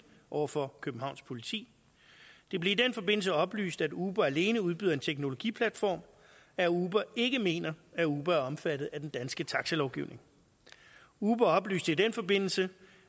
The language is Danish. over for københavns politi det blev i den forbindelse oplyst at uber alene udbyder en teknologiplatform og at uber ikke mener at uber er omfattet af den danske taxalovgivning uber oplyste i den forbindelse